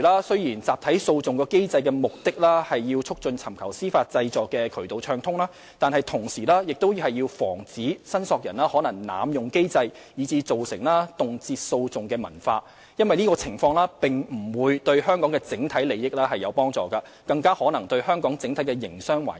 雖然集體訴訟機制的目的旨在促進尋求司法濟助的渠道暢通，但同時亦要防止申索人可能濫用機制以致造成動輒訴訟的文化，因為這種情況無助於香港的整體利益，更可能損害香港整體營商環境。